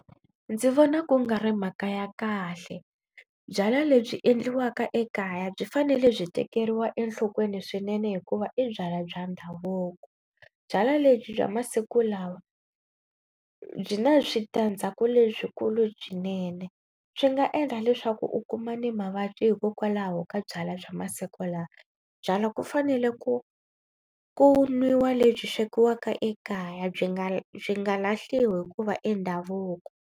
Ndzi vona ku nga ri mhaka ya kahle. Byalwa lebyi endliwaka ekaya byi fanele byi tekeriwa enhlokweni swinene hikuva i byalwa bya ndhavuko. Byalwa lebyi bya masiku lawa byi na switandzhaku leswikulu byinene. Swi nga endla leswaku u kuma ni mavabyi hikokwalaho ka byalwa bya masiku lawa. Byalwa ku fanele ku ku nwiwa lebyi swekiwaka ekaya byi nga byi nga lahliwi hikuva i ndhavuko.